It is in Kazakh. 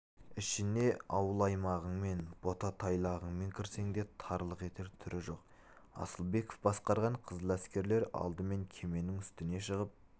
ішіне ауыл-аймағыңмен бота-тайлағыңмен кірсең де тарлық етер түрі жоқ асылбеков басқарған қызыл әскерлер алдымен кеменің үстіне шығып